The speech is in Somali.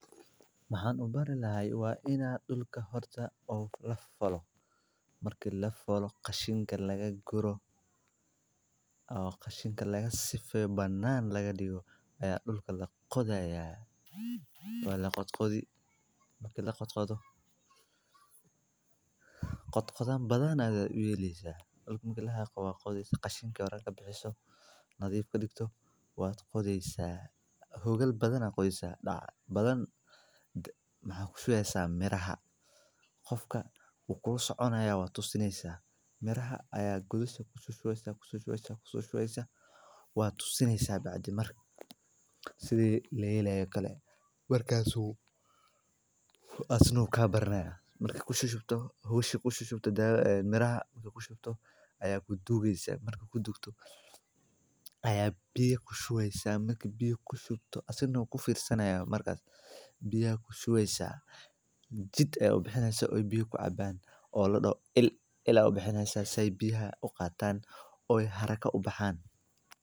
Waxan ogani lahay waa inaa il ka farto oo lafalo, aa hawl muhiim ah oo ah tallaabada ugu horreysa ee lagu bilaabo beerashada dalag. Marka hore, dhulka waa in laga nadiifiyaa cawska, qashinka, iyo dhirta aan loo baahnayn. Kadibna, waxaa la isticmaalaa faas, fargeeto, ama mashiinno falid si dhulka loogu jebiyo, loogana dhigo mid jilicsan oo diyaar u ah in lagu beero abuurka. Marka la falo dhulka, sey biyaha u qatan oo haraka u bahan.